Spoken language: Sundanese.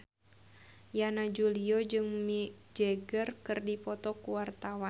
Yana Julio jeung Mick Jagger keur dipoto ku wartawan